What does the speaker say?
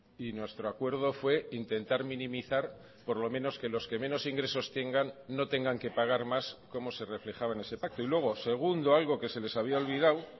y nuestro acuerdo fue intentar minimizar por lo menos que los que menos ingresos tengan no tengan que pagar más como se reflejaba en ese pacto y luego segundo algo que se les había olvidado